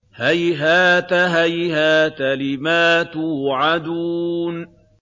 ۞ هَيْهَاتَ هَيْهَاتَ لِمَا تُوعَدُونَ